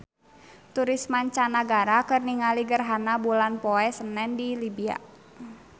Turis mancanagara keur ningali gerhana bulan poe Senen di Libya